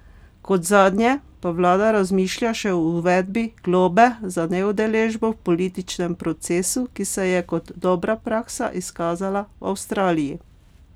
Kot zadnje pa vlada razmišlja še o uvedbi globe za neudeležbo v političnem procesu, ki se je kot dobra praksa izkazala v Avstraliji.